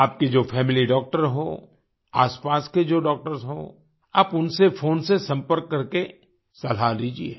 आपके जो family doctor हों आसपास के जो डॉक्टर्स हों आप उनसे फ़ोन से संपर्क करके सलाह लीजिये